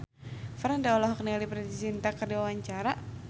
Franda olohok ningali Preity Zinta keur diwawancara